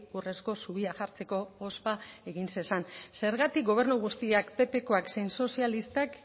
urrezko zubia jartzeko ospa egin zezan zergatik gobernu guztiak ppkoak zein sozialistak